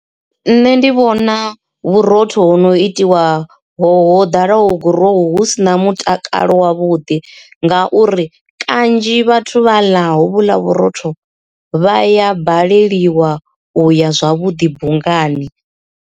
Nṋe ndi vhona vhurotho ho no itiwa ho dalaho gurowu hu si na mutakalo wavhuḓi ngauri kanzhi vhathu vha ḽa hovhuḽa vhurotho vha ya baleliwa uya zwavhuḓi bungani.